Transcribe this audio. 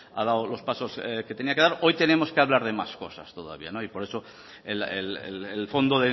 ha dado los pasos que tenía que dar hoy tenemos que hablar de más cosas todavía por eso el fondo